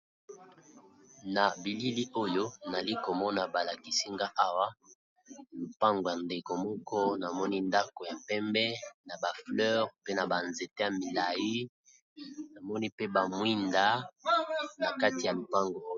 Na bilili oyo nali komona balakisinga awa lopango ya ndeko moko namoni ndako ya pembe na ba fleur pe na ba nzete ya milayi namoni pe ba mwinda na kati ya lopango.